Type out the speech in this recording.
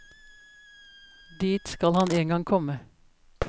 Dit skal han en gang komme.